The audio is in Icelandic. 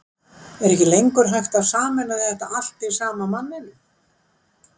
Er ekki lengur hægt að sameina þetta allt í sama manninum?